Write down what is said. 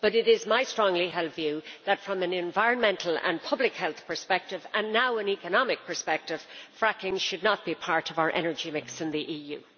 But it is my strongly held view that, from an environmental and public health perspective, and now an economic perspective, fracking should not be part of our energy mix in the EU.